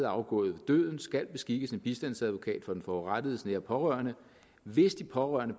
afgået ved døden skal beskikkes en bistandsadvokat for den forurettedes nære pårørende hvis de pårørende